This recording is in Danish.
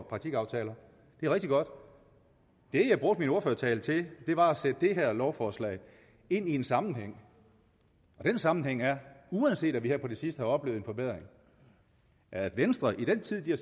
praktikaftaler det er rigtig godt det jeg brugte min ordførertale til var at sætte det her lovforslag ind i en sammenhæng og den sammenhæng er uanset at vi her på det sidste har oplevet en forbedring at venstre i den tid de har